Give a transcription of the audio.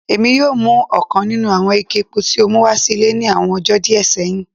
Èmi o mu ọ̀kan nínú àwọn ike epo tí o mú wá sí ile ní àwọn ọjó díẹ séhìn